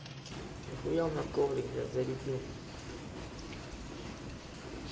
вы явно коврик для зарядил